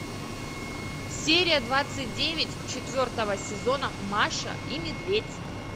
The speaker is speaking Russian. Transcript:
серия двадцать девять четвертого сезона маша и медведь